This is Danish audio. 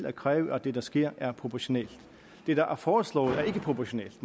og kræve at det der sker er proportionalt det der er foreslået er ikke proportionalt